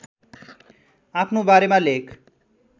आफ्नो बारेमा लेख